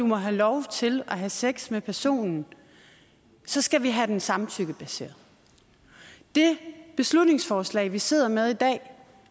må have lov til at have sex med personen så skal vi have den samtykkebaseret det beslutningsforslag vi sidder med i dag